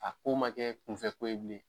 A ko man kɛ kunfɛ ko ye bilen.